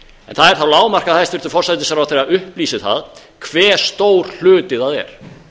en það er þá lágmark að hæstvirtur forsætisráðherra upplýsi það hve stór hluti það er